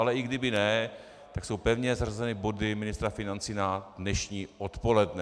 Ale i kdyby ne, tak jsou pevně zařazeny body ministra financí na dnešní odpoledne.